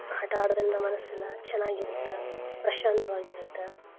ಆಟಾ ಆಡೋದ್ರಿಂದ ಮನ್ಸೆಲ್ಲ ಚನಾಗ್ ಇರುತ್ತ ಪ್ರಶಾಂತ್ವಾಗಿರುತ್ತ.